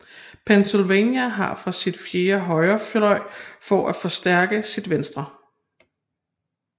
Pennsylvania fra sin fjerne højrefløj for at forstærke sin venstre